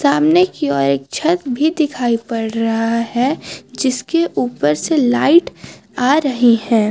सामने की ओर एक छत भी दिखाई पड़ रहा हैं जिसके ऊपर से लाइट आ रही हैं।